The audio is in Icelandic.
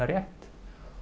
rétt